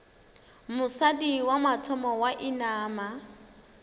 mosadi wa mathomo wa inama